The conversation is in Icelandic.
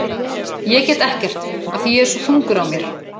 Ég get ekkert af því að ég er svo þungur á mér.